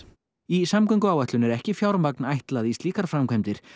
í samgönguáætlun er ekki fjármagn ætlað í slíkar framkvæmdir